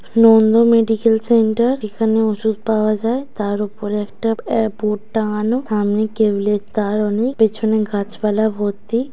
নন্দ.মেডিকেল.সেন্টার(nondo madical centre) | এখানে ওষুধ পাওয়া যায় | তার উপরে একটা আ বোর্ড টাঙানো | সামনে কেবলের তার অনেক পেছনে গাছপালা ভর্তি।